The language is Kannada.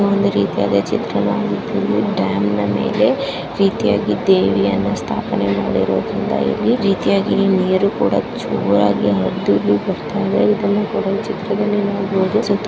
ಒಂದು ರೀತಿಯಾದ ಚಿತ್ರಣವಾಗಿದ್ದು ಡ್ಯಾಮ್ನ ಮೇಲೆ ರೀತಿಯಾಗಿ ದೇವಿಯನ್ನು ಸ್ಥಾಪನೆಮಾಡಿರುವುದರಿಂದ ಇಲ್ಲಿ ರೀತಿಯಾಗಿ ನೀರು ಕೂಡಾ ಜೋರಾಗಿ ಹರಿದು ಬರ್ತಾ ಇದೆ ಇದನ್ನು ಕೂಡ ಈ ಚಿತ್ರದಲ್ಲಿ ನೋಡಬಹುದು--